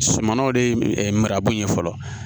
Sumanw de ye marakun ye fɔlɔ